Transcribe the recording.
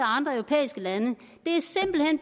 andre europæiske lande